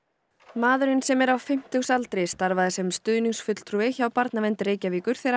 maðurinn sem er á fimmtugsaldri starfaði sem stuðningsfulltrúi hjá Barnavernd Reykjavíkur þegar